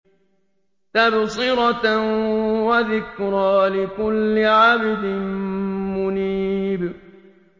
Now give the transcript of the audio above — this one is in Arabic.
تَبْصِرَةً وَذِكْرَىٰ لِكُلِّ عَبْدٍ مُّنِيبٍ